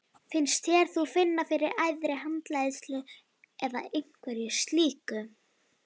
Finnst þér þú finna fyrir æðri handleiðslu eða einhverju slíku?